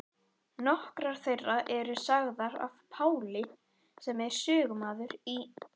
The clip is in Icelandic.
Nokkrar þeirra eru sagðar af Páli sem er sögumaður í